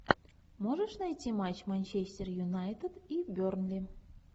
можешь найти матч манчестер юнайтед и бернли